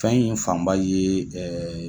Fɛn in fanba ye